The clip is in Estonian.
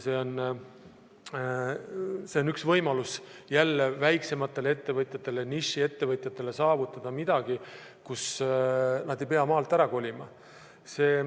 See on üks võimalus jälle väiksematele ettevõtjatele, nišiettevõtjatele, saavutada midagi, kus nad ei pea maalt ära kolima.